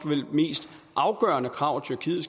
mest afgørende krav tyrkiet